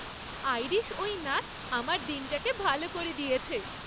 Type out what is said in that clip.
Irish ওই নাচ আমার দিনটাকে ভালো করে দিয়েছে।